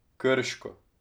Krško.